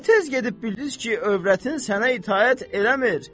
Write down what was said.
Nə tez gedib bildiz ki, övrətin sənə itaət eləmir?